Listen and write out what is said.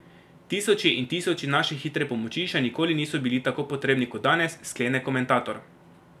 Tisoči in tisoči naše hitre pomoči še nikoli niso bili tako potrebni kot danes, sklene komentator.